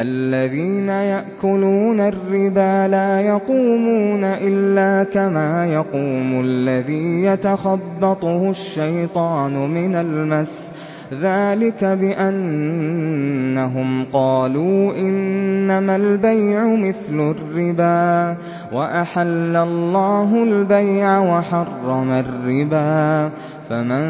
الَّذِينَ يَأْكُلُونَ الرِّبَا لَا يَقُومُونَ إِلَّا كَمَا يَقُومُ الَّذِي يَتَخَبَّطُهُ الشَّيْطَانُ مِنَ الْمَسِّ ۚ ذَٰلِكَ بِأَنَّهُمْ قَالُوا إِنَّمَا الْبَيْعُ مِثْلُ الرِّبَا ۗ وَأَحَلَّ اللَّهُ الْبَيْعَ وَحَرَّمَ الرِّبَا ۚ فَمَن